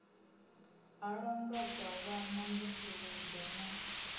ha londotwa vhana mvusuludzo na